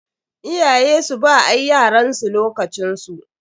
Iyaye su ba ea yaransu lokacin su.